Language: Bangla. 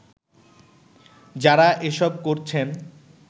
যারা এসব করছেন